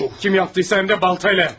Kim yaptıysa həm də baltayla yapmış.